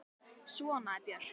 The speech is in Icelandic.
Svona er Björk.